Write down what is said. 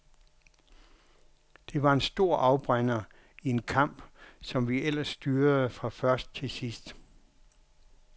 Det var en stor afbrænder i en kamp, som vi ellers styrede fra først til sidst.